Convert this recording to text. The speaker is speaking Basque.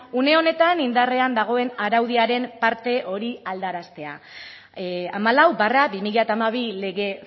une honetan indarrean dagoen araudiaren parte hori aldaraztea hamalau barra bi mila hamabi lege